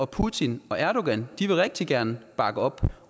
putin og erdogan rigtig gerne vil bakke op